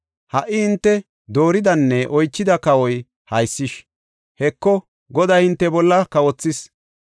Ha77i hinte dooridanne oychida kawoy haysish. Heko, Goday hinte bolla kawothis.